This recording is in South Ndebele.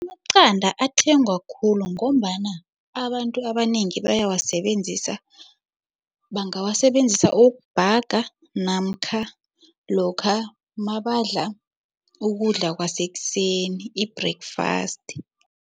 Amaqanda athengwa khulu ngombana abantu abanengi bayawasebenzisa, bangawasebenzisa ukubhaga namkha lokha mabadla ukudla kwasekuseni, i-breakfast.